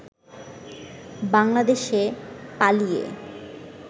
বাংলাদেশে পালিয়ে